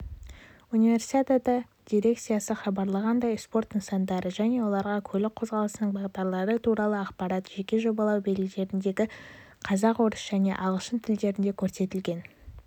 универсиада дирекциясы хабарлағандай спорт нысандары және оларға көлік қозғалысының бағдарлары туралы ақпарат жеке жобалау белгілерінде қазақ орыс және ағылшын тілдерінде көрсетілген